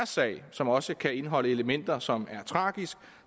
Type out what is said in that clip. sag som også kan indeholde elementer som er tragiske